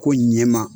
Ko ɲɛma